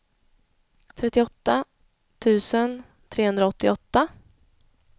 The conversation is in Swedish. trettioåtta tusen trehundraåttioåtta